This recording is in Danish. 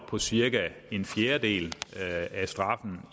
på cirka en fjerdedel af straffen